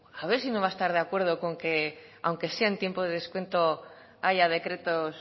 a ver si no va a estar de acuerdo con que aunque sea en tiempo de descuento haya decretos